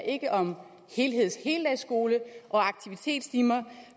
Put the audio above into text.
ikke om helheds og heldagsskole og aktivitetstimer